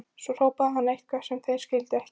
Svo hrópaði hann eitthvað sem þeir skildu ekki.